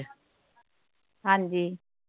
ਹਾਂ ਜੀ।